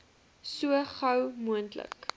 so gou moontlik